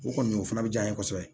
O kɔni o fana bɛ diya n ye kosɛbɛ